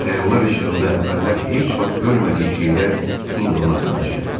Bu xəyallar işığında əvvəllər heç vaxt görmədiyi şeylər indi ona tanış gəlirdi.